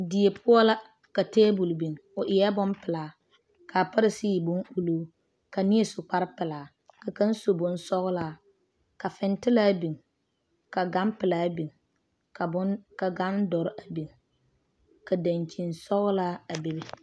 Die poɔ la ka tabol biŋ o eɛ bonpɛlaa ka pare sigi e bon ulluu ka neɛ su kpare pɛlaa ka kaŋ su bonsɔglaa ka fintilaa biŋ ka gan pelaa biŋ ka gan doɔre a biŋ ka danyine sɔglaa a bebe.